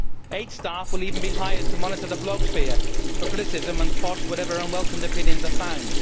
Eight staff will even be hired to monitor the blogosphere for criticism and quash whatever unwelcome opinions are found.